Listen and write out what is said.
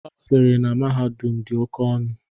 Ọ sịrị na mahadum ahụ dị oke ọnụ.